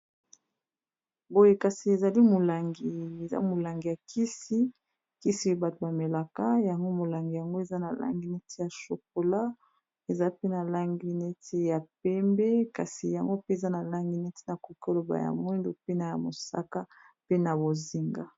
Boye kasi ezali molangi eza molangi ya kisi kisi oye bato bamelaka yango molangi yango eza na langi neti ya chokola eza pe na langi neti ya pembe kasi yango pe eza na langi neti na kokaloba ya mwindu pena ya mosaka pe na bozinga